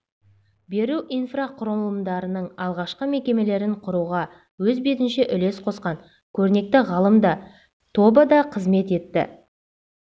беру инфрақұрылымдарының алғашқы мекемелерін құруға өз бетінше үлес қосқан көрнекті ғалымда тобы да қызмет етті